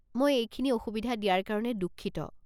মই এইখিনি অসুবিধা দিয়াৰ কাৰণে দুঃখিত।